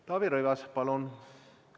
Taavi Rõivas, palun!